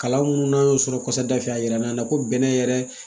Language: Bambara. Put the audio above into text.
Kalan mun n'an y'o sɔrɔ kɔfɛ da fɛ a jira n'a na ko bɛnɛ yɛrɛ